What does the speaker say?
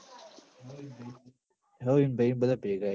હઓ ઈન ભઈ ન બધા ભેગા